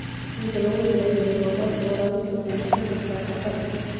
Inta lagu jiro xilli-roobaadka, waraabinta waxay noqon kartaa khatar.